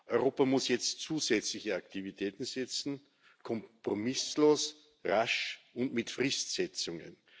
Europa muss jetzt zusätzliche Aktivitäten setzen kompromisslos, rasch und mit Fristsetzungen.